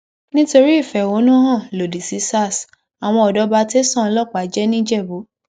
nítorí ìfẹhónú hàn lòdì sí sars àwọn ọdọ bá tẹsán ọlọpàá jẹ nìjẹbù